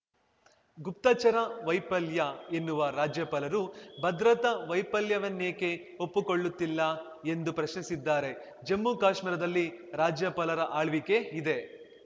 ಗುಪ್ತಚರ ವೈಫಲ್ಯ ಎನ್ನುವ ರಾಜ್ಯಪಾಲರು ಭದ್ರತಾ ವೈಫಲ್ಯವನ್ನೇಕೆ ಒಪ್ಪುಕೊಳ್ಳುತ್ತಿಲ್ಲ ಎಂದು ಪ್ರಶ್ನಿಸಿದ್ದಾರೆ ಜಮ್ಮುಕಾಶ್ಮೀರದಲ್ಲಿ ರಾಜ್ಯಪಾಲರ ಆಳ್ವಿಕೆ ಇದೆ